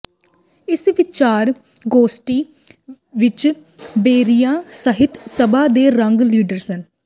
ਇਸ ਵਿਚਾਰ ਗੋਸਟੀ ਵਿੱਚ ਬੇਏਰੀਆ ਸਹਿਤ ਸਭਾ ਦੇ ਰਿੰਗ ਲੀਡਰ ਸ੍ਰ